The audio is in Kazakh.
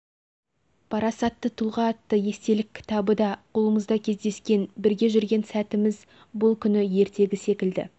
парасатты тұлға атты естелік кітабы да қолымызда кездескен бүріге жүрген сәтіміз бұл күні ертегі секілді